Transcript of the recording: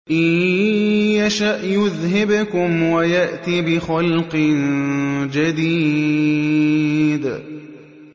إِن يَشَأْ يُذْهِبْكُمْ وَيَأْتِ بِخَلْقٍ جَدِيدٍ